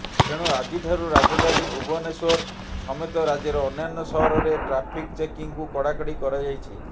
ତେଣୁ ଆଜିଠାରୁ ରାଜଧାନୀ ଭୁବନେଶ୍ୱର ସମେତ ରାଜ୍ୟର ଅନ୍ୟାନ୍ୟ ସହରରେ ଟ୍ରାଫିକ୍ ଚେକିଂକୁ କଡାକଡି କରାଯାଇଛି